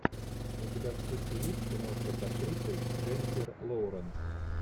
у тебя в списке есть киношка с актрисой дженифер лоуренс